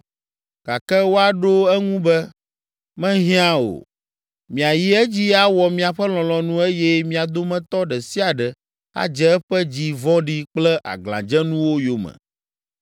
Gake woaɖo eŋu be, ‘Mehiã o; miayi edzi awɔ miaƒe lɔlɔ̃nu eye mia dometɔ ɖe sia ɖe adze eƒe dzi vɔ̃ɖi kple aglãdzenuwo yome.’ ”